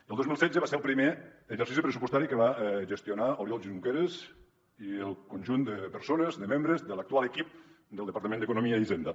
el dos mil setze va ser el primer exercici pressupostari que va gestionar oriol junqueras i el conjunt de persones de membres de l’actual equip del departament d’economia i hisenda